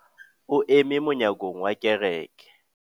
O eme monyakong wa kereke.